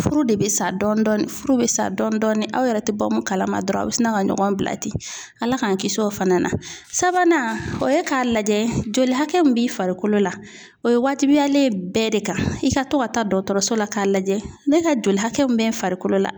Furu de bɛ sa dɔɔnin furu bɛ sa dɔɔnin dɔɔnin aw yɛrɛ tɛ bɔ kalama dɔrɔn a bɛ sina ka ɲɔgɔn bila ten ala k'an kisi o fana na sabanan o ye k'a lajɛ joli hakɛ min b'i farikolo la o ye waatibiyalen ye bɛɛ de ka i ka to ka taa dɔgɔtɔrɔso la k'a lajɛ ne ka joli hakɛ min bɛ farikolo la